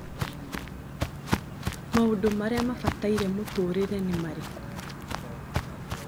Maũndũ marĩa mabataire mũtũrĩre nĩ marĩkũ